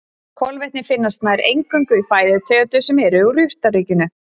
Kolvetni finnast nær eingöngu í fæðutegundum sem eru úr jurtaríkinu.